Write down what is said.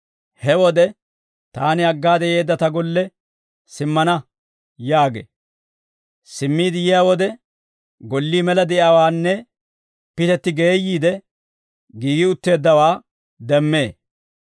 He wode, ‹Taani aggaade yeedda ta golle simmana› yaagee; simmiide yiyaa wode, gollii mela de'iyaawaanne pitetti geeyyiide, giigi utteeddawaa demmee.